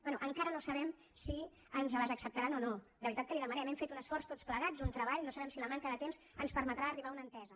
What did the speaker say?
bé encara no sabem si ens les acceptaran o no de veritat que li ho demanem hem fet un esforç tots plegats un treball no sabem si la manca de temps ens permetrà arribar a una entesa